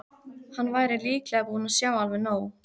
Hann væri líklega búinn að sjá alveg nóg.